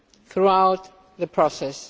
throughout the process.